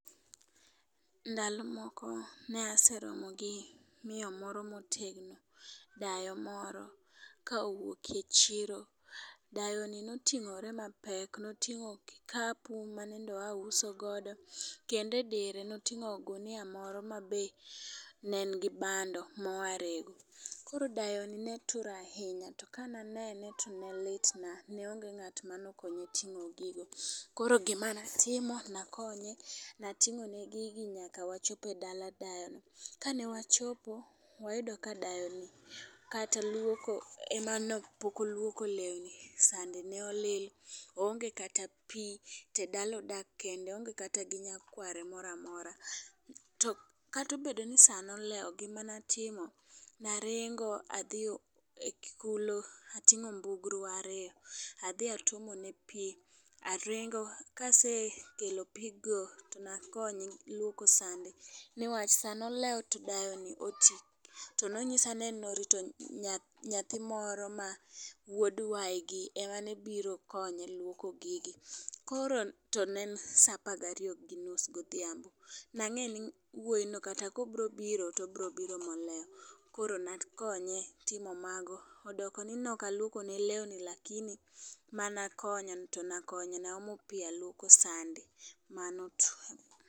Ndalo moko ne aseromo gi miyo moro motegno, dayo moro kowuok e chiro. Dayo ni notingore mapek noting'o go kikapu manende oyaa uso godo, kende dire noting'o ogunia moro mane nigi bando moya rego. Koro dayo ni ne tur ahinya to ka nanene to nolitna ne onge ng'at manokonye ting'o gigo. Koro gima natimo nakonye nating'o ne gigi nyaka wachopo dala dayo ni . Kane wachopo ne wayudo ka kata luoko ne pok oluoko lewni, sande ne olil oonge kata pii to dala odak kende oonge kata gi nyakware moramora. To kato bedo ni saa nolewo gima natimo ne aringa adhi kulo atingo mbugru ariyo adhi atuomo ne pii aringo kasekelo pii go to nakonye luoko sande to newach saa nolewo to dayo no otii to nonyisa ni en norito nyathi moro ma wuod waigi ema no biro konye wluoko gigi , to ne en saa par gariyo gi nus godhiambo nang'e nang'eni wuoyi no kata kobro biro to bro biro molewo koro nakonye timo mago. Odoko ni noka luoko ne lewni to lakini mana konyo to nakonyo aomo pii aluoko sande mano tu